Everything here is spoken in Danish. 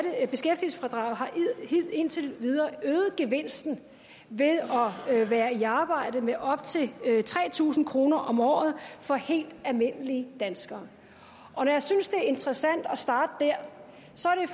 indtil videre øget gevinsten ved at være i arbejde med op til tre tusind kroner om året for helt almindelige danskere når jeg synes det er interessant at starte der